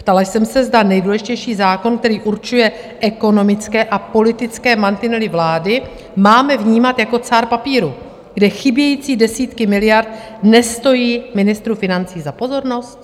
Ptala jsem se, zda nejdůležitější zákon, který určuje ekonomické a politické mantinely vlády, máme vnímat jako cár papíru, kde chybějící desítky miliard nestojí ministru financí za pozornost.